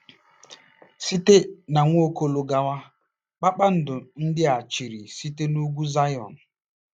Site n'Nwaokolo gawa, “kpakpando” ndị a chịrị site n'Ugwu Zayọn.